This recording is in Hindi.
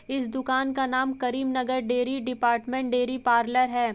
इस दुकान का नाम Karimnagar dairy department dairy parlour है।